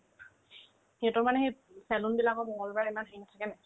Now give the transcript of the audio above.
সিহঁতৰ মানে সেত চেলুনবিলাকত মংগলবাৰে ইমান ভিৰ থাকেনে নাই